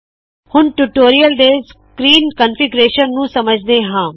ਹੁਨ ਟਿਊਟੋਰੀਅਲ ਦੇ screen configuration ਨੂ ਸਮਝਦੇ ਹਾ